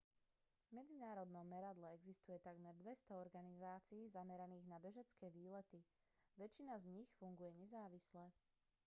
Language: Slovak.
v medzinárodnom meradle existuje takmer 200 organizácií zameraných na bežecké výlety väčšina z nich funguje nezávisle